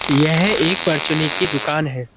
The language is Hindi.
यह एक पर्चुने की दुकान है।